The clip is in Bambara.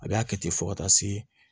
A bɛ a kɛ ten fɔ ka taa se